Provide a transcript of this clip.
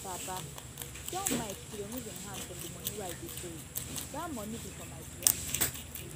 papa tell mike to remove im hand from the money wey i dey save dat money be for my piano